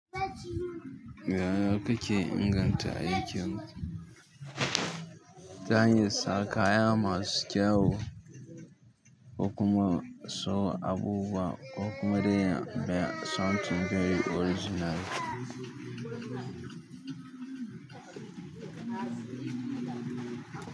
Yaya ka ke inganta aikin ki. Ta hanyar sa kaya masu kyau, ko kuma sa abubuwa ko kuma dai something dai original.